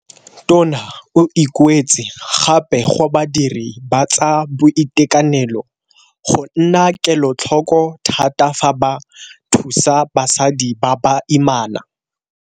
Tona o ikuetse gape go badiri ba tsa boitekanelo go nna kelotlhoko thata fa ba thusa basadi ba baimana.